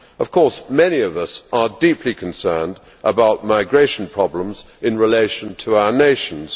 Of course, many of us are deeply concerned about migration problems in relation to our nations.